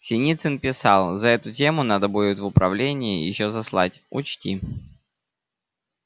синицын писал за эту тему надо будет в управление ещё заслать учти